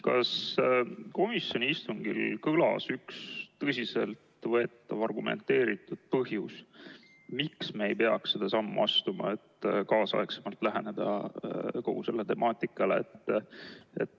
Kas komisjoni istungil kõlas mõni tõsiselt võetav argumenteeritud põhjus, miks me ei peaks seda sammu astuma, et kaasaegsemalt läheneda kogu sellele temaatikale?